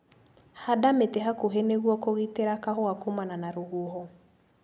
Handa mĩtĩ hakuhĩ nĩguo kũgitĩra kahũa kumana na rũhuho.